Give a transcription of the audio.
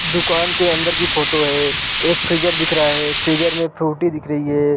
दुकान के अंदर की फोटो है एक फ्रीजर दिख रहा है फ्रीजर में फ्रूटी दिख रही है।